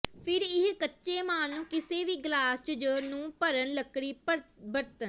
ਫਿਰ ਇਹ ਕੱਚੇ ਮਾਲ ਨੂੰ ਕਿਸੇ ਵੀ ਗਲਾਸ ਜ ਨੂੰ ਭਰਨ ਲੱਕੜੀ ਬਰਤਨ